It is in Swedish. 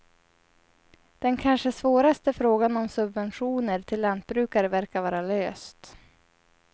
Den kanske svåraste frågan om subventioner till lantbrukare verkar vara löst.